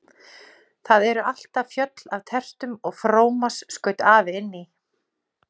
Það eru alltaf fjöll af tertum og frómas skaut afi inn í.